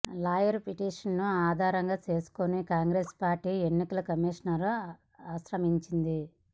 lawyer petition ను ఆధారంగా చేసుకొని కాంగ్రెస్ పార్టీ ఎన్నికల కమిషన్ ను ఆశ్రయించింది